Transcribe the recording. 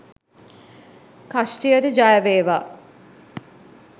කෂ්ටියට ජය වේවා